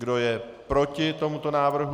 Kdo je proti tomuto návrhu?